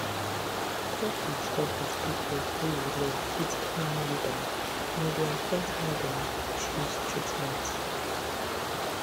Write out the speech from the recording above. talk with talk with people wey you love fit calm you down and e dey affect how dem choose treatment